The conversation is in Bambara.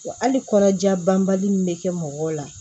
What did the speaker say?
Wa hali kɔnɔja banbali min bɛ kɛ mɔgɔw la